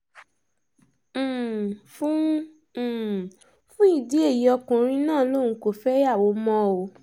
um fún um fún ìdí èyí ọkùnrin náà lòun kò fẹ́yàwó mọ́ o